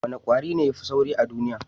Wane kwari ne ya fi sauri a duniya?